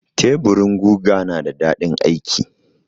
Teburin guga na da daɗin aiki.